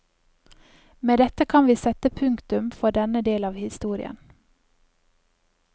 Med dette kan vi sette punktum for denne del av historien.